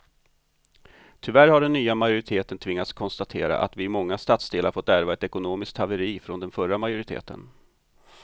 Tyvärr har den nya majoriteten tvingats konstatera att vi i många stadsdelar fått ärva ett ekonomiskt haveri från den förra majoriteten.